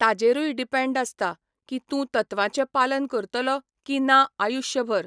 ताजेरूय depend आसता, की तूं तत्वांचें पालन करतलो की ना आयुश्य भर.